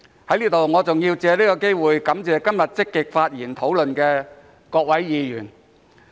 在這裏，我還要藉此機會感謝今天積極發言討論的各位議員。